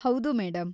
ಹೌದು, ಮೇಡಂ.